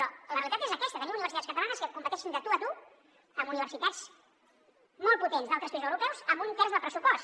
però la realitat és aquesta tenim universitats catalanes que competeixin de tu a tu amb universitats molt potents d’altres països europeus amb un terç del pressupost